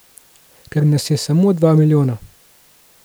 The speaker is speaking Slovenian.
Ker nas je samo dva milijona.